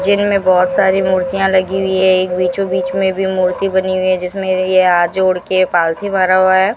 जिन में बहुत सारी मूर्तियां लगी हुई है एक बीचों बीच में भी मूर्ति बनी हुई है जिसमें ये हाथ जोड़ के पालथी मारा हुआ है।